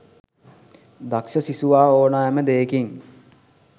දක්ෂ සිසුවා ඕනෑම දෙයකින්